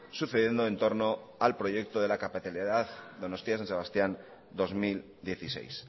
sucediendo entorno al proyecto de la capitalidad donostia san sebastián dos mil dieciséis